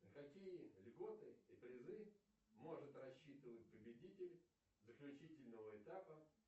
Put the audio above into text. на какие льготы и призы может рассчитывать победитель заключительного этапа